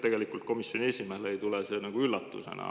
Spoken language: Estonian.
Ma kujutan ette, et komisjoni esimehele ei tule see üllatusena.